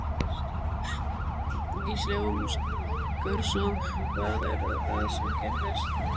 Gísli Óskarsson: Hvað er það sem gerðist?